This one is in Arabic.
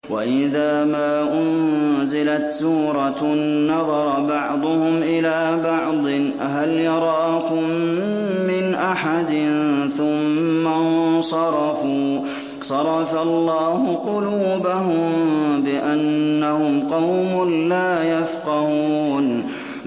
وَإِذَا مَا أُنزِلَتْ سُورَةٌ نَّظَرَ بَعْضُهُمْ إِلَىٰ بَعْضٍ هَلْ يَرَاكُم مِّنْ أَحَدٍ ثُمَّ انصَرَفُوا ۚ صَرَفَ اللَّهُ قُلُوبَهُم بِأَنَّهُمْ قَوْمٌ لَّا يَفْقَهُونَ